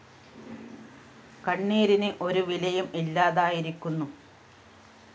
കണ്ണീരിന് ഒരു വിലയും ഇല്ലാതായിരിക്കുന്നു